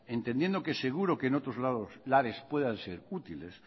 entendiendo que seguro que en otros lares puedan ser útiles